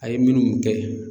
A ye minnu kɛ.